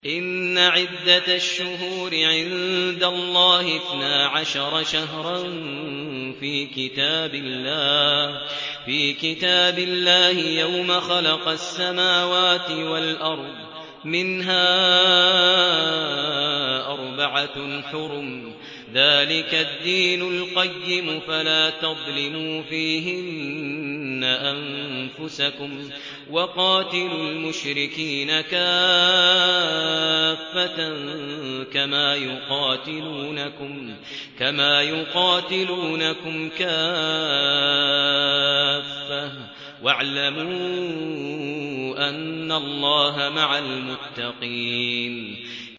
إِنَّ عِدَّةَ الشُّهُورِ عِندَ اللَّهِ اثْنَا عَشَرَ شَهْرًا فِي كِتَابِ اللَّهِ يَوْمَ خَلَقَ السَّمَاوَاتِ وَالْأَرْضَ مِنْهَا أَرْبَعَةٌ حُرُمٌ ۚ ذَٰلِكَ الدِّينُ الْقَيِّمُ ۚ فَلَا تَظْلِمُوا فِيهِنَّ أَنفُسَكُمْ ۚ وَقَاتِلُوا الْمُشْرِكِينَ كَافَّةً كَمَا يُقَاتِلُونَكُمْ كَافَّةً ۚ وَاعْلَمُوا أَنَّ اللَّهَ مَعَ الْمُتَّقِينَ